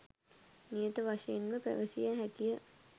නියත වශයෙන්ම පැවසිය හැකිය.